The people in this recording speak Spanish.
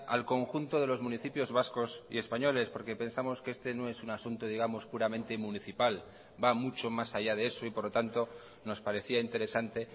al conjunto de los municipios vascos y españoles porque pensamos que este no es un asunto digamos puramente municipal va mucho más allá de eso y por lo tanto nos parecía interesante